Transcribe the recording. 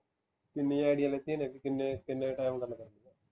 ਕਿੰਨੀਆ ਆਈਡੀਆਂ ਲਿੱਤੀਆ ਨੇ ਕਿ ਕਿੰਨੇ ਕਿੰਨੇ time ਗੱਲ ਕਰਨ ਨੂੰ